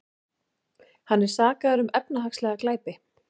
Hann er sakaður um efnahagslega glæpi